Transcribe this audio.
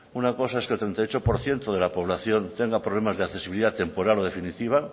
una cosa es que el treinta y ocho por ciento de la población tenga problemas de accesibilidad temporal o definitiva